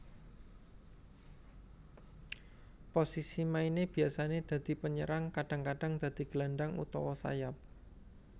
Posisi maine biasane dadi penyerang kadang kadang dadi gelandang utawa sayap